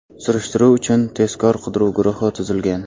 Surishtiruv uchun tezkor qidiruv guruhi tuzilgan.